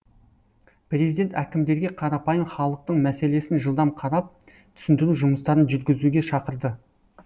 президент әкімдерге қарапайым халықтың мәселесін жылдам қарап түсіндіру жұмыстарын жүргізуге шақырды